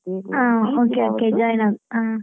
ಹಾ okay ,okay join ಆ.